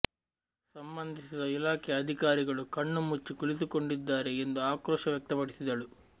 ಸಂಬಂಧಿಸಿದ ಇಲಾಖೆಯ ಅಧಿಕಾರಿಗಳು ಕಣ್ಣು ಮುಚ್ಚಿ ಕುಳಿತುಕೊಂಡಿದ್ದಾರೆ ಎಂದು ಆಕ್ರೋಶ ವ್ಯಕ್ತಪಡಿಸಿದಳು